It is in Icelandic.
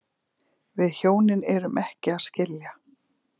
Við hjónin erum ekki að skilja